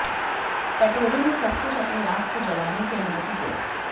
कटोरे में सब कुछ अपने आप को जलाने की अनुमति दें